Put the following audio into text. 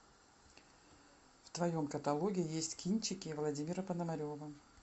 в твоем каталоге есть кинчики владимира пономарева